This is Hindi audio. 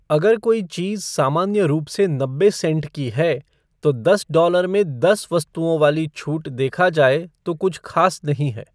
अगर कोई चीज़ सामान्य रूप से नब्बे सेंट की है, तो दस डॉलर में दस वस्तुओं वाली छूट देखा जाए तो कुछ ख़ास नहीं है।